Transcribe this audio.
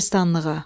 Qəbristanlığa.